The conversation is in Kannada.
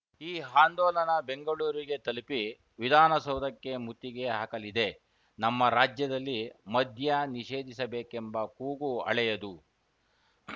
ಈ ಹಾಂದೋಲನ ಬೆಂಗಳೂರಿಗೆ ತಲುಪಿ ವಿಧಾನಸೌಧಕ್ಕೆ ಮುತ್ತಿಗೆ ಹಾಕಲಿದೆ ನಮ್ಮ ರಾಜ್ಯದಲ್ಲಿ ಮದ್ಯ ನಿಷೇಧಿಸಬೇಕೆಂಬ ಕೂಗು ಅಳೆಯದು